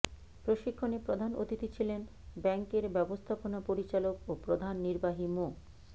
প্রশিক্ষণে প্রধান অতিথি ছিলেন ব্যাংকের ব্যবস্থাপনা পরিচালক ও প্রধান নির্বাহী মো